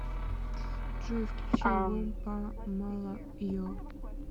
джой включи альбом па мала е